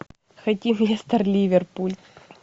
хотим лестер ливерпуль